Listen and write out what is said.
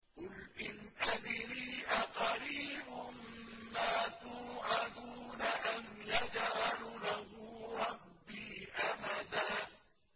قُلْ إِنْ أَدْرِي أَقَرِيبٌ مَّا تُوعَدُونَ أَمْ يَجْعَلُ لَهُ رَبِّي أَمَدًا